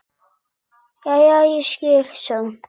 Jæja, ég skil, sagði hún.